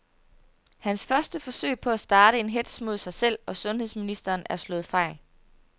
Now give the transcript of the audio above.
Hans første forsøg på at starte en hetz mod sig selv og sundheds ministeren er slået fejl.